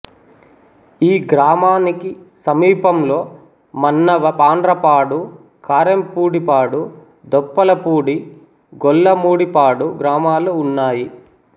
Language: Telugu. ఈ గ్రామానికి సమీపంలో మన్నవ పాండ్రపాడు కారెంపూడిపాడు దొప్పలపూడి గోళ్ళమూడిపాడు గ్రామాలు ఉన్నాయి